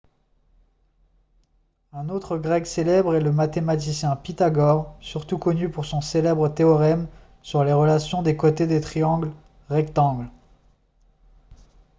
un autre grec célèbre est le mathématicien pythagore surtout connu pour son célèbre théorème sur les relations des côtés des triangles rectangles